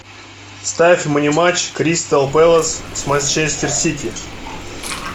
ставь мне матч кристал пэлас с манчестер сити